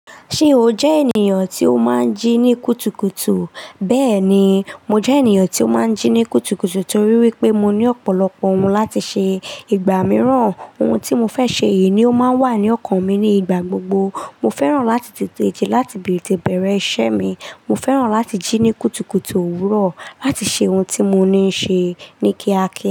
Ṣé o jẹ́ ènìyàn tí ó máa ń jí ní kùtùkùtù? Bẹ́ẹ̀ni, mo jẹ́ ènìyàn tí ó máa ń jí ní kùtùkùtù torí wípé mo ní ọ̀pọ̀lọpọ̀ ohun láti ṣe. Igba mìíràn, ohun tí mo fẹ́ ṣe yìí ni ó máa ń wà ní ọkàn mi ní ìgbà gbogbo. Mo fẹ́ràn láti tètè jí láti tete bere iṣẹ́ mi. Mo fẹ́ràn láti jí ní kùtùkùtù òwúrọ̀ láti ṣe ohun tí mo ní ṣe ní kíákíá.